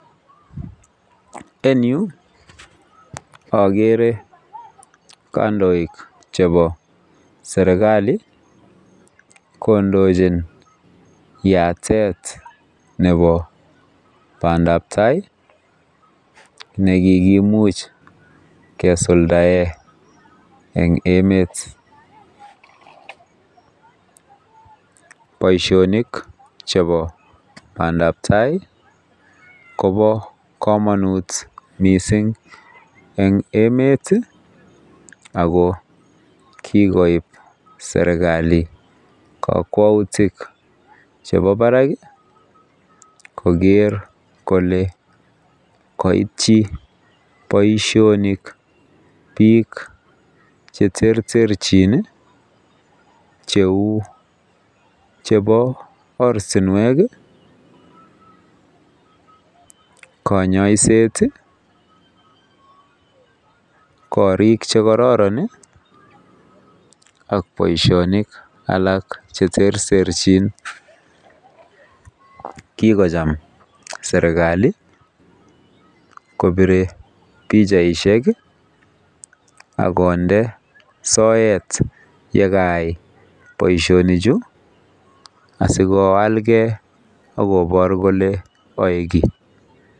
Eng yuu ogere kandoik chebo serkali kondochin yatet nebo bandap tai nekikimuch kesuldaen eng emet boisionik chebo bandap tai Kobo kamanut mising eng emet iih ago kikoib serkali kakwautik chebo barak koger kole koityi boisionik bik cheterterjin iih cheu chebo ortinwek iih konyoiset iih korik chekororon iih ak boisionik alak cheterterjin. Kikocham serkali kobire pichaisiek iih akonde soet ye kayai boisionichu asikoalgen agobor kole koik kiy